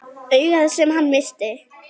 Augað sem hann missti.